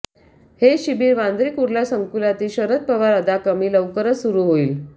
हे शिबिर वांद्रे कुर्ला संकूलातील शरद पवार अदाकमी लवकरच सुरु होईल